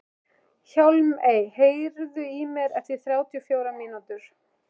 Hjálmey, heyrðu í mér eftir þrjátíu og fjórar mínútur.